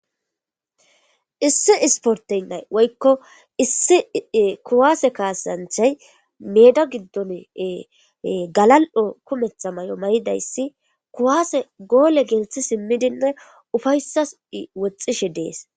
Issi isportaynay woykko issi kuwaase kaasyanthay meeda giddon galal7o kumetha may7o may7idayssi kuwaase goole gelthi simmidinne ufayssas woxxishe dees